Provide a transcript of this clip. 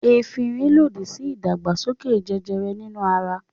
Efirin lòdì sí ìdàgbàsókè jẹjẹrẹ nínú ara.